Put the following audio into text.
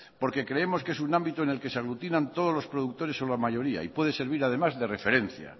porque creemos que es un ámbito en el que se aglutinan todos los productores o la mayoría y puede servir además de referencia